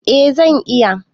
Eh zan iya